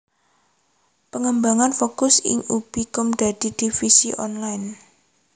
Pangembang fokus ing ubi com dadi divisi online